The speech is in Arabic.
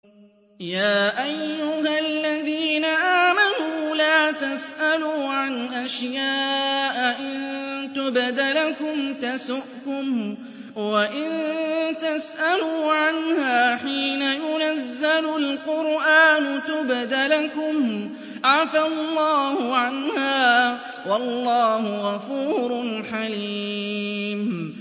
يَا أَيُّهَا الَّذِينَ آمَنُوا لَا تَسْأَلُوا عَنْ أَشْيَاءَ إِن تُبْدَ لَكُمْ تَسُؤْكُمْ وَإِن تَسْأَلُوا عَنْهَا حِينَ يُنَزَّلُ الْقُرْآنُ تُبْدَ لَكُمْ عَفَا اللَّهُ عَنْهَا ۗ وَاللَّهُ غَفُورٌ حَلِيمٌ